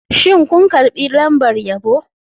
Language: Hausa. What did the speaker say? Shin kun karbi lambar yabo?